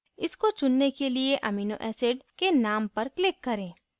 इसको चुनने के लिए amino acid के name पर click करें